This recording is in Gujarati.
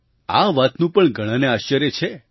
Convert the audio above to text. આ વાતનું પણ ઘણાને આશ્ચર્ય છે